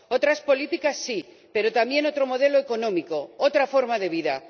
Otras políticas sí, pero también otro modelo económico, otra forma de vida.